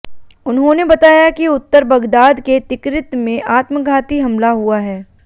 उन्होंने बताया कि उत्तर बगदाद के तिकरित में आत्मघाती हमला हुआ है